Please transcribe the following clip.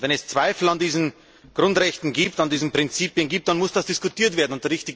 Wenn es Zweifel an diesen Grundrechten, an diesen Prinzipien gibt, dann muss das diskutiert werden.